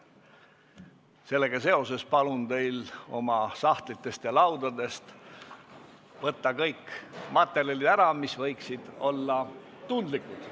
Sellega seoses palun teil oma sahtlitest ja laudadelt ära võtta kõik materjalid, mis võiksid olla tundlikud.